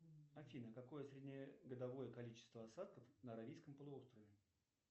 афина какое среднегодовое количество осадков на аравийском полуострове